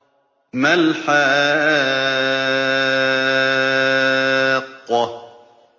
مَا الْحَاقَّةُ